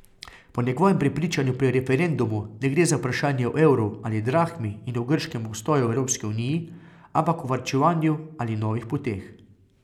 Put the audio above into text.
Po njegovem prepričanju pri referendumu ne gre za vprašanje o evru ali drahmi in o grškem obstoju v Evropski uniji, ampak o varčevanju ali novih poteh.